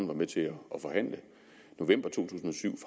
var med til at forhandle november to tusind og syv